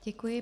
Děkuji.